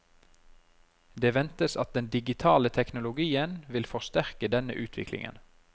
Det ventes at den digitale teknologien vil forsterke denne utviklingen.